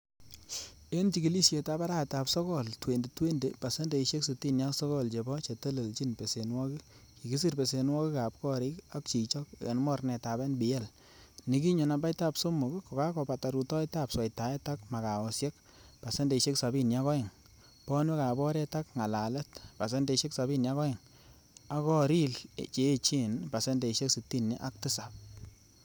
En chigilisietab arawetab Sogol,2020 ,pasendeisiek sitini ak sogol chebo chetelelchin besenwogik kikisir besenwogik ab gorik ak chichok en mornetab NPL,nekinyo nambaitab somok kokakobata rutoetab sweitaet ak magaosiek(pasendeisiek sabini ak oeng),bonwek ab oret ak ngalalet(pasendeisiek sabini ak oeng) ak goril che echen(pasendeisiek sitini ak tisap).